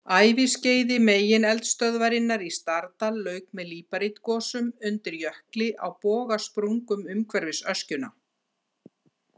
Æviskeiði megineldstöðvarinnar í Stardal lauk með líparítgosum undir jökli á bogasprungum umhverfis öskjuna.